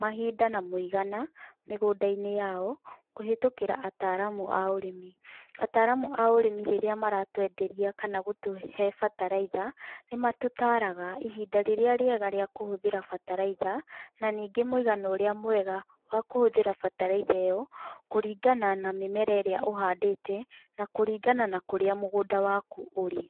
mahinda na mũigana mĩgũnda -inĩ yao kũhetũkĩra ataramu a ũrĩmi, ataramu a ũrĩmi rĩrĩa maratwenderia kana gũtũhe bataraitha, nĩ matũtaraga ihinda rĩrĩa rĩege rĩa kũhũthĩra bataraitha na ningĩ mũigana ũrĩa mwege wa kũhũthĩra bataraitha ĩyo kũringana na mĩmera ĩrĩa ũhandĩte na kũringana na kurĩa mũgũnda wakũ ũrĩ.